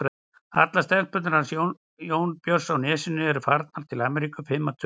Allar stelpurnar hans Jónbjörns í Nesi eru farnar til Ameríku, fimm að tölu.